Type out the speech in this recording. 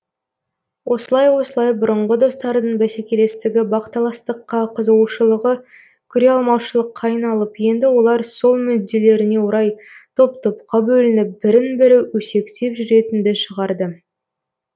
осылай осылай бұрынғы достардың бәсекелестігі бақталастыққа қызығушылығы көреалмаушылыққа айналып енді олар сол мүделлеріне орай топ топқа бөлініп бірін бірі өсектеп жүретінді шығарды